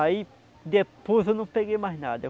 Aí depois eu não peguei mais nada.